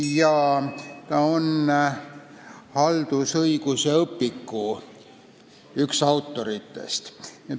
Samuti on ta haldusõiguse õpiku üks autoritest.